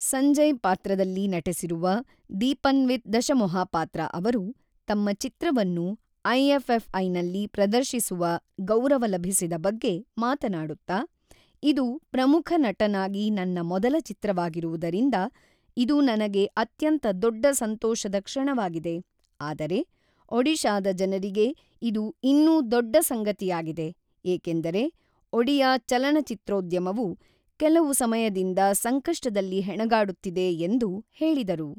ಸಂಜಯ್ ಪಾತ್ರದಲ್ಲಿ ನಟಿಸಿರುವ ದೀಪನ್ವಿತ್ ದಶಮೋಹಪಾತ್ರ ಅವರು ತಮ್ಮ ಚಿತ್ರವನ್ನು ಐಎಫ್ಎಫ್ಐನಲ್ಲಿ ಪ್ರದರ್ಶಿಸುವ ಗೌರವ ಲಭಿಸಿದ ಬಗ್ಗೆ ಮಾತನಾಡುತ್ತಾ, ಇದು ಪ್ರಮುಖ ನಟನಾಗಿ ನನ್ನ ಮೊದಲ ಚಿತ್ರವಾಗಿರುವುದರಿಂದ ಇದು ನನಗೆ ಅತ್ಯಂತ ದೊಡ್ಡ ಸಂತೋಷದ ಕ್ಷಣವಾಗಿದೆ, ಆದರೆ ಒಡಿಶಾದ ಜನರಿಗೆ ಇದು ಇನ್ನೂ ದೊಡ್ಡ ಸಂಗತಿಯಾಗಿದೆ, ಏಕೆಂದರೆ ಒಡಿಯಾ ಚಲನಚಿತ್ರೋದ್ಯಮವು ಕೆಲವು ಸಮಯದಿಂದ ಸಂಕಷ್ಟದಲ್ಲಿ ಹೆಣಗಾಡುತ್ತಿದೆ ಎಂದು ಹೇಳಿದರು.